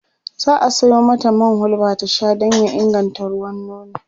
za'a Sayo mata man hulba ta Sha Dan ya inganta ruwan nono